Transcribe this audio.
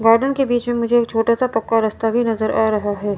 Garden के बीच में मुझे एक छोटा सा पक्का रास्ता भी नजर आ रहा है।